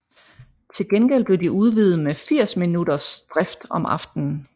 Til gengæld blev de udvidet med 80 minutters drift om aftenen